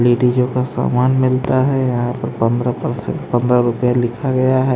लेडीजों का सामान मिलता है यहां पर पंधरा परसेंट पंधरा रुपये लिखा गया है ।